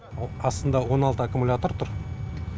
астында он алты аккумулятор тұр